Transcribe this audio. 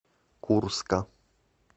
курска